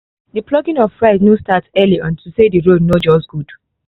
the plucking of rice no start early unto say the road no just good